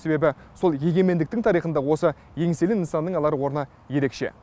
себебі сол егемендіктің тарихында осы еңселі нысанның алар орны ерекше